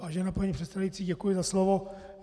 Vážená paní předsedající, děkuji za slovo.